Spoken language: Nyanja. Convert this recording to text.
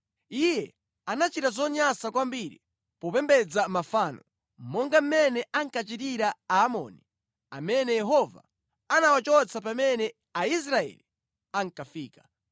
Iye anachita zonyansa kwambiri popembedza mafano, monga mmene ankachitira Aamori amene Yehova anawachotsa pamene Aisraeli ankafika).